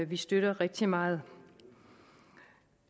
vi støtter rigtig meget